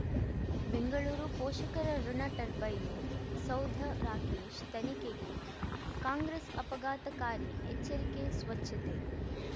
ಬೆಂಗಳೂರು ಪೋಷಕರಋಣ ಟರ್ಬೈನು ಸೌಧ ರಾಕೇಶ್ ತನಿಖೆಗೆ ಕಾಂಗ್ರೆಸ್ ಆಪಘಾತಕಾರಿ ಎಚ್ಚರಿಕೆ ಸ್ವಚ್ಛತೆ